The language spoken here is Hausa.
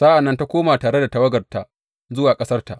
Sa’an nan ta koma tare da tawagarta zuwa ƙasarta.